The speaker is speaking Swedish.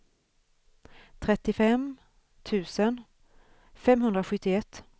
trettiofem tusen femhundrasjuttioett